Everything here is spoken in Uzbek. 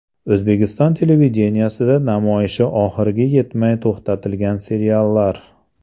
O‘zbekiston televideniyesida namoyishi oxiriga yetmay to‘xtatilgan seriallar.